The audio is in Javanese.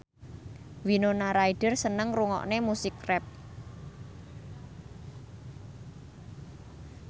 Winona Ryder seneng ngrungokne musik rap